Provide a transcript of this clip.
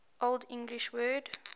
old english word